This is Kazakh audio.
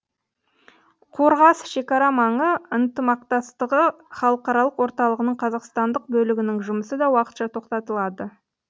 қорғас шекара маңы ынтымақтастығы халықаралық орталығының қазақстандық бөлігінің жұмысы да уақытша тоқтатылады